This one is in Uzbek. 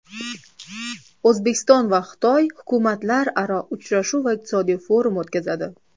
O‘zbekiston va Xitoy hukumatlararo uchrashuv va iqtisodiy forum o‘tkazadi.